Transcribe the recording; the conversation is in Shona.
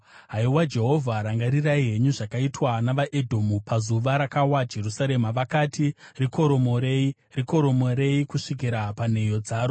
Haiwa Jehovha, rangarirai henyu zvakaitwa navaEdhomu, pazuva rakawa Jerusarema. Vakati, “Rikoromorei! Rikoromorei kusvikira panheyo dzaro!”